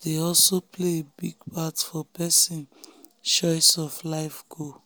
dey also play a big part for person choice of life goal.